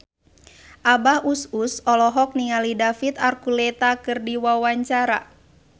Abah Us Us olohok ningali David Archuletta keur diwawancara